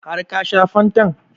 Har ka shan fantan?